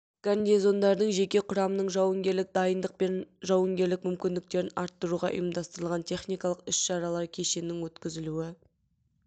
гарнизондардың жеке құрамының жауынгерлік дайындық пен жауынгерлік мүмкіндіктерін арттыруға ұйымдастырылған техникалық іс шаралар кешенінің өткізілуі